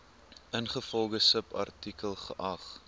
ingevolge subartikel geag